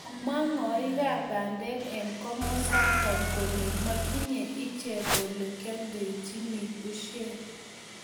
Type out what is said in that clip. komwa ng'oikab bandek eng komosato kole motinyei ichek ole kioldochini busiek